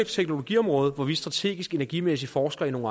teknologiområde hvor vi strategisk og energimæssigt forsker i nogle